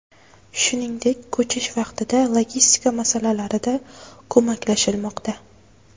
Shuningdek, ko‘chish vaqtida logistika masalalarida ko‘maklashilmoqda.